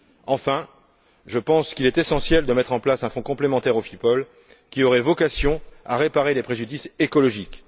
Enfin, je pense qu'il est essentiel de mettre en place un fonds complémentaire au FIPOL qui aurait vocation à réparer les préjudices écologiques.